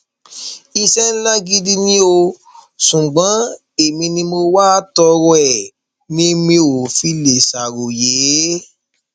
iṣẹ ńlá gidi ni ò ṣùgbọn èmi ni mo wá a torí ẹ ni mi ò fi lè ṣàròyé